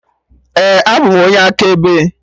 Ee, abụ m onye akaebe